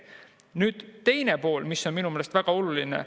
Nüüd teine pool, mis on minu meelest väga oluline.